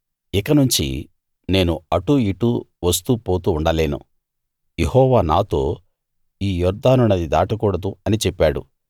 ఇకనుంచి నేను అటూ ఇటూ వస్తూ పోతూ ఉండలేను యెహోవా నాతో ఈ యొర్దాను నది దాటకూడదు అని చెప్పాడు